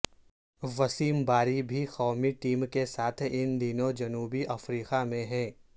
وسیم باری بھی قومی ٹیم کے ساتھ ان دنوں جنوبی افریقہ میں ہیں